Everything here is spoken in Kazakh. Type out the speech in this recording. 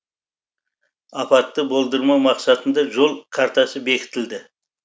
апатты болдырмау мақсатында жол картасы бекітілді